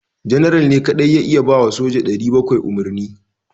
General ne kadai ya iya ba wa soja 700 umarni